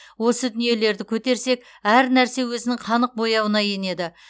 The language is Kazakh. осы дүниелерді көтерсек әр нәрсе өзінің қанық бояуына енеді